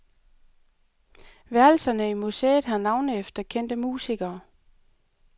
Værelserne i museet har navne efter kendte musikere.